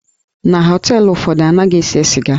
Na họteelụ ụfọdụ, anaghị ese sịga.